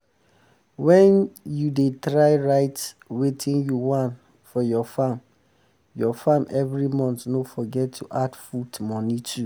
when u da try write watin u want for ur farm ur farm every month no forget to the add food money too